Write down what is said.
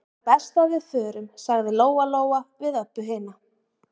Þá er best að við förum, sagði Lóa-Lóa við Öbbu hina.